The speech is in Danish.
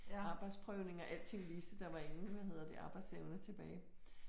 Arbejdsprøvning og alting viste der var ingen hvad hedder det arbejdsevne tilbage